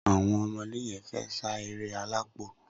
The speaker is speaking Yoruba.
Awọn ọmọdé yèn fè sá éré àlápó